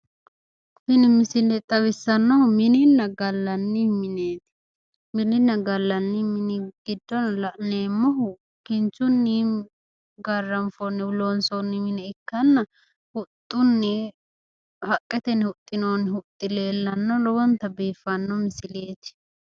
Tini misile xawissannohu mininna gallanni mineeti. Mininna gallanni mini giddo la'neemmohu kinchunni garranfoonnihu loonsoonni mine ikkanna huxxunni haqqetenni huxxinoonni huxxi leellanno. Lowonta biiffanno misileeti.